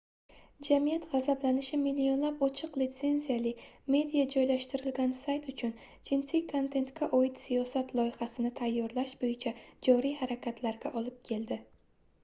jamiyat gʻazablanishi millionlab ochiq litsenziyali media joylashtirilgan sayt uchun jinsiy kontentga oid siyosat loyihasini tayyorlash boʻyicha joriy harakatlarga olib keldi